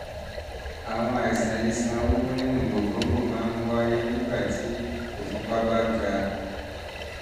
ìṣòro àìsàn iṣan wíwú nínú gògóńgò máa ń wáyé nígbàtí ìfúnpá bá ga ìfúnpá bá ga